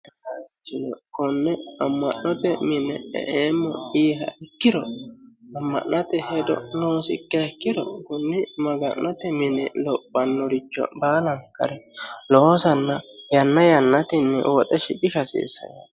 ayee manchi konne amma'note mine e'eemmo yiiha ikkiro, amma'note hedo noosiha ikkiha ikkiro, kunni maga'note mini lophannoricho aate baalankare loosanna yanna yannatenni woxe shiqisha hasiissanno.